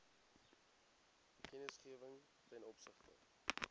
kennisgewing ten opsigte